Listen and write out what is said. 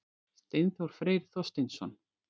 Steinþór Freyr Þorsteinsson